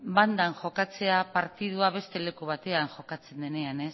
bandan jokatzea partidua beste leku batean jokatzen denean